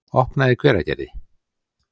opnað í Hveragerði.